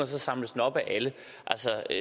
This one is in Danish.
så samles op af alle